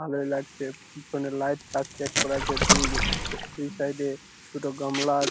ভালোই লাগছে পিছনে লাইট সেট করা আছে | দুই দুই সাইড -এ দুটো গামলা আ--